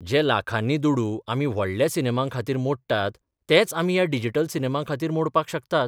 जे लाखांनी दुडू आमी व्हडल्या सिनेमां खातीर मोडटात तेच आमी ह्या डिजिटल सिनेमां खातीर मोडपाक शकतात.